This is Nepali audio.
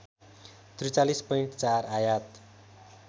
४३.४ आयात